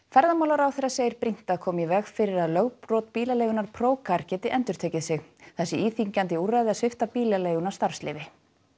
ferðamálaráðherra segir brýnt að koma í veg fyrir að lögbrot bílaleigunnar geti endurtekið sig það sé íþyngjandi úrræði að svipta bílaleiguna starfsleyfi